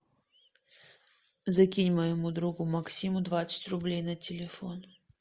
закинь моему другу максиму двадцать рублей на телефон